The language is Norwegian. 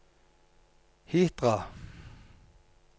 Hitra